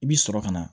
I bi sɔrɔ ka na